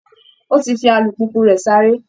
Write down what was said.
Ó ti fi alùpùpù rẹ̀ sáré